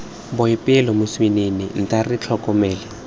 boipelo moswinini nta re tlhokomele